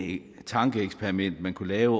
tankeeksperiment man kunne lave